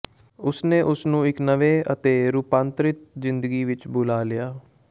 ਉਸ ਨੇ ਉਸ ਨੂੰ ਇਕ ਨਵੇਂ ਅਤੇ ਰੂਪਾਂਤਰਿਤ ਜ਼ਿੰਦਗੀ ਵਿਚ ਬੁਲਾ ਲਿਆ